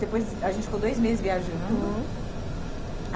Depois a gente ficou dois meses viajando. Hum.